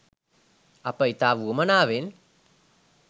අප ඉතා වුවමනාවෙන්